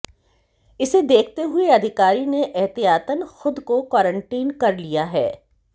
इसे देखते हुए अधिकारी ने एहतियातन खुद को क्वारंटीन कर लिया है